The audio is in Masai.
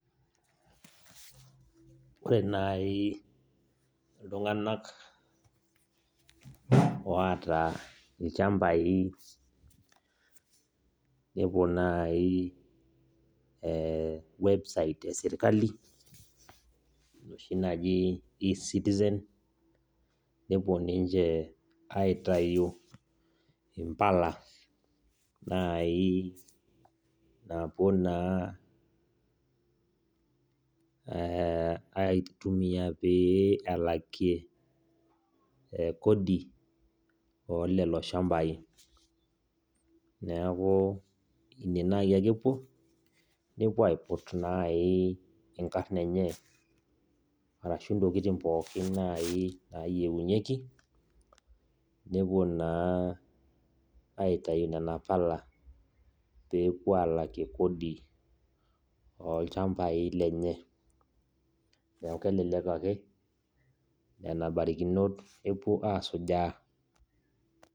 Ore nai oltungani oota lchambai nepuo nai website eserkali enoshi naji e citizen nepuo ninche aitau mbala nai napuo na e aitumia peyie elakie kodi ololoshambai neaku ine nai ake epuo nepuo aiput nai nkarn enye arashu ntokitin pookin nai nayieunyeki nepuo na aitaunona pala pepuo alakie kodi olchambai lenye, neaku kelele ake nona barikinot epuo asujaa